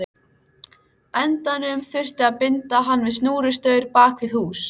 endanum þurfti að binda hann við snúrustaur bak við hús.